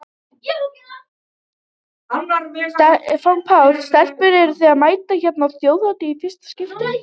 Stefán Páll: Stelpur eruð þið að mæta hérna á Þjóðhátíð í fyrsta skipti?